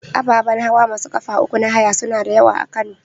Ababan hawa masu ƙafa uku na haya suna da yawa a Kano.